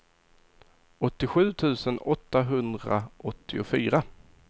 åttiosju tusen åttahundraåttiofyra